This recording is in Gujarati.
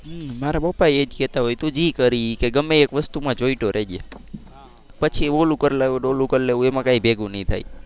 મારા પપ્પા એ જ કેતા હોય તું જે કર એ ગમે એ એક વસ્તુ માં ચોટયો રેજે. પછી ઓલું કરવું ને ઓલું કર લેવું એમાં કઈ ભેગું નહીં થાય.